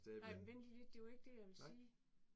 Nej vent lige lidt det var ikke det jeg ville sige